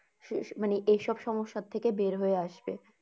শেষ মানে এই সব সমস্যার থেকে বের হয়ে আসবে।